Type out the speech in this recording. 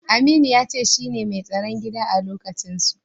Aminu ya ce shine da mai tsaron gida a lokacinsu.